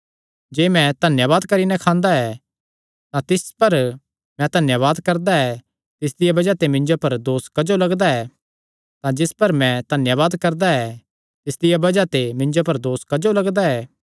जे मैं धन्यावाद करी नैं खांदा ऐ तां जिस पर मैं धन्यावाद करदा ऐ तिसदिया बज़ाह ते मिन्जो पर दोस क्जो लगदा ऐ